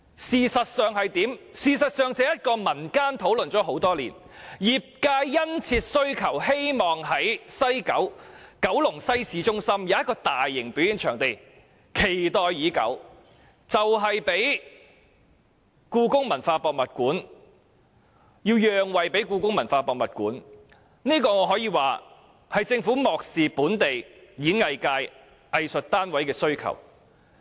事實上，這個場地業經民間討論多年，業界殷切希望能在九龍西市中心興建大型表演場地，可說是期待已久，但最終卻要讓位予香港故宮文化博物館，可見政府是如何漠視本地演藝界、藝術單位的需求。